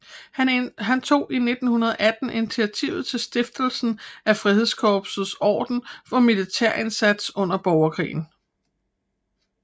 Han tog i 1918 initiativ til stiftelsen af Frihedskorsets orden for militær indsats under borgerkrigen